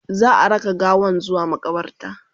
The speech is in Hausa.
za'a raka gawan zuwa maƙabarta